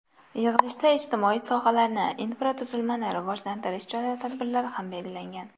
Yig‘ilishda ijtimoiy sohalarni, infratuzilmani rivojlantirish chora-tadbirlari ham belgilangan.